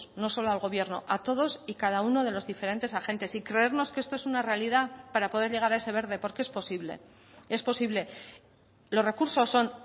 no solo al gobierno a todos y cada uno de los diferentes agentes y creernos que esto es una realidad para poder llegar a ese verde porque es posible es posible los recursos son